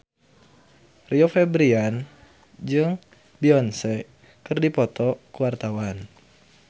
Rio Febrian jeung Beyonce keur dipoto ku wartawan